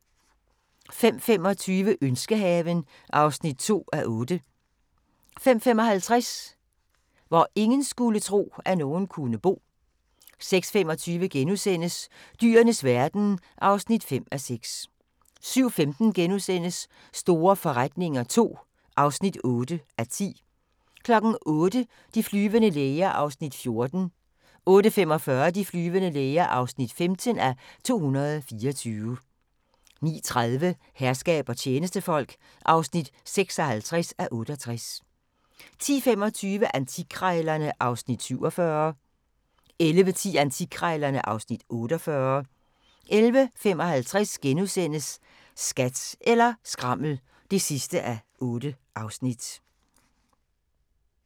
05:25: Ønskehaven (2:8) 05:55: Hvor ingen skulle tro, at nogen kunne bo 06:25: Dyrenes verden (5:6)* 07:15: Store forretninger II (8:10)* 08:00: De flyvende læger (14:224) 08:45: De flyvende læger (15:224) 09:30: Herskab og tjenestefolk (56:68) 10:25: Antikkrejlerne (Afs. 47) 11:10: Antikkrejlerne (Afs. 48) 11:55: Skat eller skrammel (8:8)*